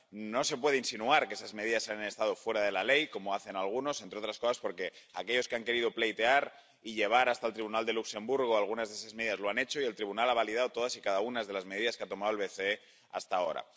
No se puede insinuar que esas medidas han estado fuera de la ley —como hacen algunos—, entre otras cosas, porque aquellos que han querido pleitear y llevar hasta el Tribunal de Luxemburgo algunas de esas medidas lo han hecho y el Tribunal ha validado todas y cada una de las medidas que ha tomado el BCE hasta ahora.